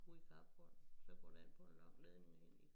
Ude i carporten så går det ind på en lang ledning inde i